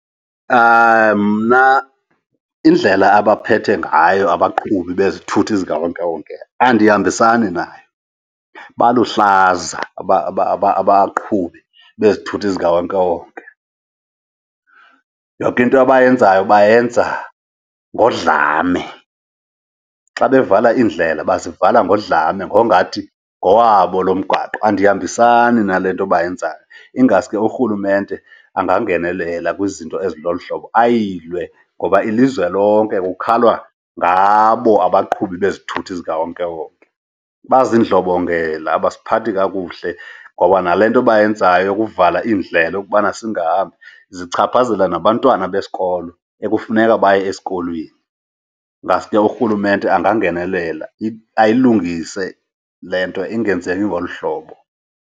Mna indlela abaphethe ngayo abaqhubi bezithuthi zikawonkewonke andihambisani nayo, baluhlaza abaqhubi bezithuthi zikawonkewonke. Yonke into abayenzayo bayenza ngodlame. Xa bevala iindlela bazivala ngodlame ngongathi ngowabo lo mgwaqo. Andihambisani na le nto bayenzayo, ingaske urhulumente angangenelela kwizinto ezilolu hlobo, ayilwe, ngoba ilizwe lonke kukhalwa ngabo abaqhubi bezithuthi zikawonkewonke. Bazindlobongela, abasiphathi kakuhle. Ngoba nale nto bayenzayo yokuvala iindlela ukubana singahambi, zichaphazela nabantwana besikolo ekufuneka baye esikolweni. Ngaske urhulumente angangenelela ayilungise le nto, ingenzeki ngolu hlobo.